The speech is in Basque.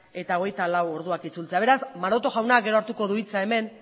eta hogeita lau orduak itzultzea beraz maroto jaunak gero hartuko du hitza hemen